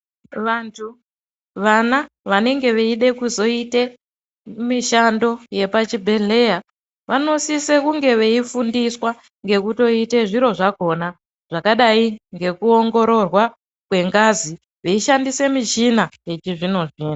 Vantu, vana vanenge veide kuzoite mishando yepachibhedhlera vanosise kunge veifundiswa ngekutoite zviro zvakona zvakadai ngekuongororwa kwengazi veishandise michina yechizvino zvino.